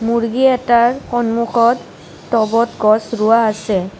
মূৰ্গী এটাৰ সন্মুখত ট'বত গছ ৰোৱা আছে।